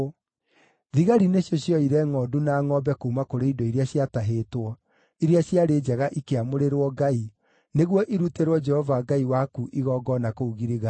Thigari nĩcio cioire ngʼondu na ngʼombe kuuma kũrĩ indo iria ciatahĩtwo, iria ciarĩ njega ikĩamũrĩrwo Ngai, nĩguo irutĩrwo Jehova Ngai waku igongona kũu Giligali.”